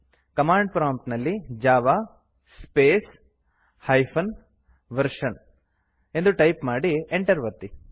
command prompt ನಲ್ಲಿ Java space hyphen version ಎಂದು type ಮಾಡಿ Enter ಒತ್ತಿ